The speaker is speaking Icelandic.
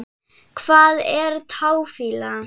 Hvað er táfýla?